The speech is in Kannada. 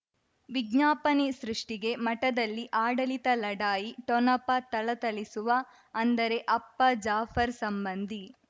ವಿಜ್ಞಾಪನೆ ಸೃಷ್ಟಿಗೆ ಮಠದಲ್ಲಿ ಆಡಳಿತ ಲಢಾಯಿ ಠೊಣಪ ಥಳಥಳಿಸುವ ಅಂದರೆ ಅಪ್ಪ ಜಾಫರ್ ಸಂಬಂಧಿ